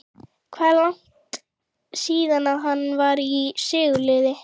Hvað er langt síðan að hann var í sigurliði?